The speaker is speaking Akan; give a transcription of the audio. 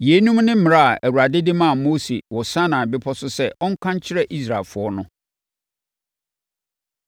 Yeinom ne mmara a Awurade de maa Mose wɔ Sinai Bepɔ so sɛ ɔnka nkyerɛ Israelfoɔ no.